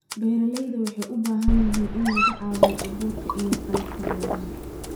Beeralayda waxay u baahan yihiin in laga caawiyo abuurka iyo qalabka beeraha.